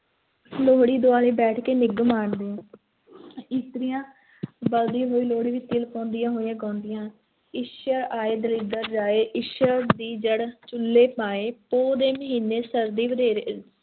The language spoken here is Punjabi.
ਲੋਹੜੀ ਦੁਆਲੇ ਬੈਠ ਕੇ ਨਿੱਘ ਅਨੰਦ ਮਾਣਦੇ ਆ ਇਸਤਰੀਆਂ ਬਲਦੀ ਹੋਈ ਲੋਹੜੀ ਵਿੱਚ ਤਿਲ ਪਾਉਂਦੀਆਂ ਹੋਈਆਂ ਗਾਉਂਦੀਆਂ, ਈਸ਼ਰ ਆਏ ਦਲਿੱਦਰ ਜਾਏ, ਈਸ਼ਰ ਦੀ ਜੜ੍ਹ ਚੁੱਲ੍ਹੇ ਪਾਏ, ਪੋਹ ਦੇ ਮਹੀਨੇ ਸਰਦੀ ਵਧੇਰੇ